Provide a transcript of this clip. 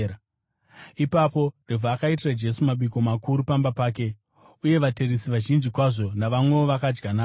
Ipapo Revhi akaitira Jesu mabiko makuru pamba pake, uye vateresi vazhinji kwazvo navamwewo vakadya navo.